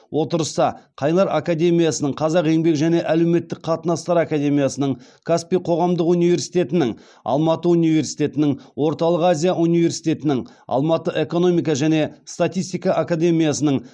отырыста қайнар академиясының қазақ еңбек және әлеуметтік қатынастар академиясының каспий қоғамдық университетінің алматы университетінің орталық азия университетінің алматы экономика және статистика академиясының